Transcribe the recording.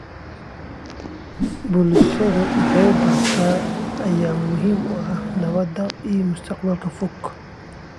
Bulsho wax bartay ayaa muhiim u ah nabadda ee mustaqbalka fog.